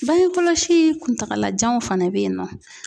Bange kɔlɔsi kuntagalajanw fana bɛ ye nɔ.